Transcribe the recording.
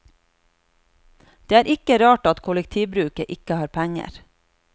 Det er ikke rart at kollektivbruket ikke har penger.